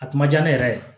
A kun diya ne yɛrɛ ye